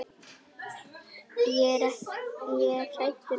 Ég er hræddur um ekki.